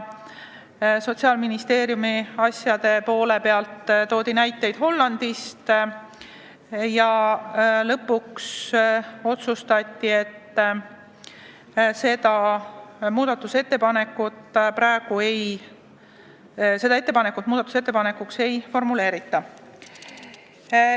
Sotsiaalministeerium tõi sellekohaseid näiteid Hollandist ja lõpuks otsustati, et seda muudatusettepanekuks ei formuleerita.